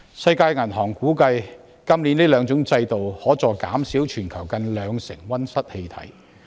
世界銀行估計，這兩種制度今年有助減少全球近兩成溫室氣體。